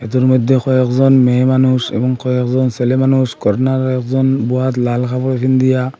মধ্যে কয়েকজন মেয়ে মানুষ এবং কয়েকজন ছেলে মানুষ কর্নারে একজন বহাত লাল কাপড় ।